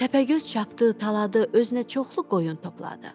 Təpəgöz çapdığı, taladığı, özünə çoxlu qoyun topladı.